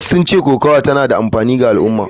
Wasu sun ce kokawa tana da amfani ga al’umma.